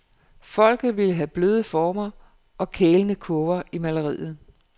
Folket vil have bløde former og kælne kurver i malerier.